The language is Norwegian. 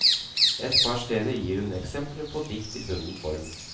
Et par steder gir hun eksempler på dikt i bunden form.